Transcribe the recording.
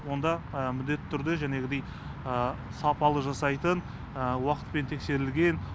онда міндетті түрде жәнегідей сапалы жасайтын уақытпен тексерілген